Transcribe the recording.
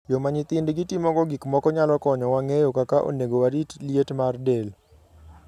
Yo ma nyithindgi timogo gik moko nyalo konyowa ng'eyo kaka onego warit liet mar del.